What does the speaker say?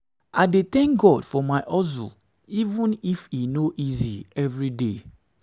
i dey tank god for my hustle even if e no easy evriday.